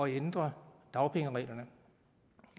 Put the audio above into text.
ændre dagpengereglerne